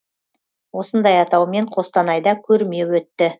осындай атаумен қостанайда көрме өтті